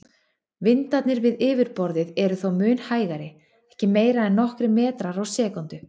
Vindarnir við yfirborðið eru þó mun hægari, ekki meira en nokkrir metrar á sekúndu.